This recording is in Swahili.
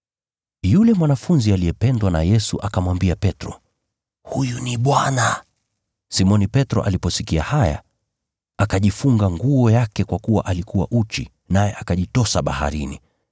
Yule mwanafunzi aliyependwa na Yesu akamwambia Petro, “Huyu ni Bwana!” Simoni Petro aliposikia haya, akajifunga nguo yake kwa kuwa alikuwa uchi, naye akajitosa baharini.